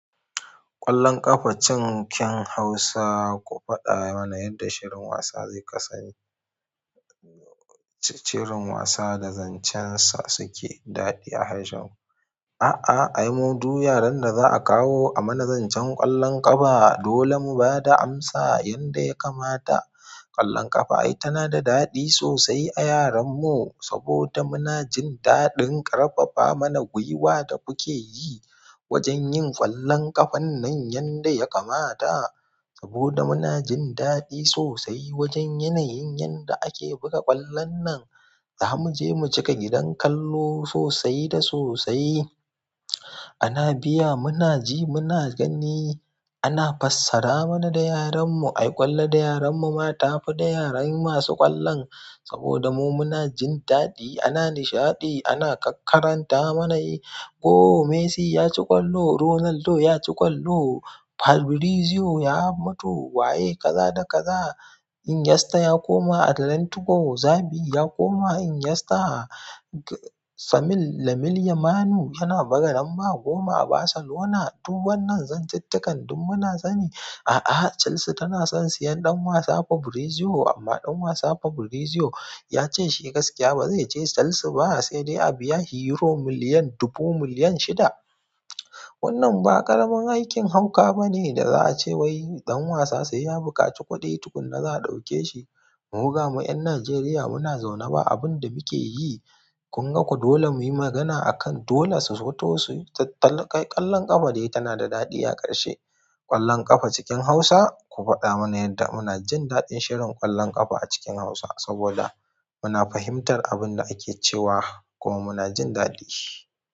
Ƙwallon ƙafa cinkin Hausa, ku faɗa mana yadda shirin wasa zai kasani. Cirin wasa da zancen sa suke daɗi a harshen. Aa ai mu duw yaren da za akawo amana zancen kallon ƙafa dole mubada amsa yanda ya kamata ƙwallon ƙafa ai tana da daɗi sosai a yaran mu saboda muna jin daɗin ƙarfafa mana gwiwa da kuke yi wajen yin ƙwallon ƙafan nan yanda ya kamata. Saboda muna jin daɗi sosai wajen yanayin yanda ake buga ƙwallon nan. Za mu je mu cika gidan kallo sosai da sosai. Ana biya, muna ji, muna gani, ana fassara mana da yaran mu. Ai ƙwallon da yaran mu ma ta fi da yaran masu ƙwallon. Saboda mu muna jin daɗi, ana nishaɗi, ana ƙaƙkaranta mana yi. "ko Messi ya ci ƙwallo, Ronaldo ya ci ƙwallo, Fabrizio ya mutu, waye kaza da kaza. Iniesta ya koma Atlantico, Xavi ya koma Iniesta. Lamil yamalu yana buga lamba goma a Barcelona." Duban nan zantuttukan duk muna sani. A'a, Chelsea tana son siyan ɗan wasa Fabrizio amma ɗan wasa Fabrizio ya ce shi gaskiya ba zai je Chelsea ba sai dai a biya Euro miliyan dubu miliyan shida. Wannan ba ƙaramin aikin hauka ba ne da za a ce wai ɗan wasa sai ya buƙaci kuɗi tukuna za a ɗauke shi. Mu gamu ƴan Najeriya muna zaune ba abin da muke yi. Kun ga ku dole mu yi magana a kan dole su zuto suyi tattali ƙwallon ƙafa dai tana da daɗi a ƙarshe. Ƙwallon ƙafa cikin Hausa, ku faɗa mana yadda muna jin daɗin shirin ƙwallon ƙafa a cikin Hausa saboda muna fahimtar abin da ake cewa kuma muna jin daɗi.